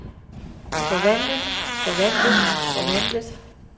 forvandlet forvandlet forvandlet